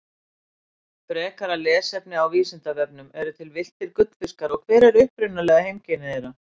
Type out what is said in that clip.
Frekara lesefni á Vísindavefnum Eru til villtir gullfiskar og hver eru upprunaleg heimkynni þeirra?